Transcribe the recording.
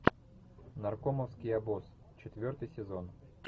наркомовский обоз четвертый сезон